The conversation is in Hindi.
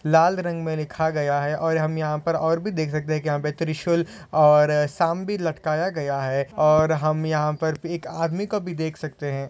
लाल रंग मे लिखा गया है और हम यहाँ पर और भी देख सकते यहा पर त्रिशुल और सांप भी लटकाया गया है और हम यहाँ पर एक आदमी को भी देख सकते है।